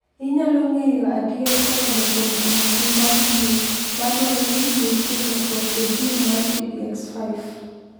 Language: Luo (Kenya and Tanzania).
Inyalo ng’eyo adier kokalo kuom timo pim mag gene ma dwaro ni nitie lokruok e gene mar TBX5.